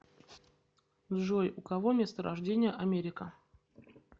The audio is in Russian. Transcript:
джой у кого место рождения америка